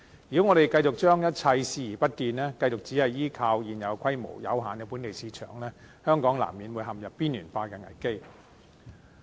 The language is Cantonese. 如果香港繼續將一切視而不見，繼續只是依靠現有規模、有限的本地市場，香港難免陷入邊緣化的危機。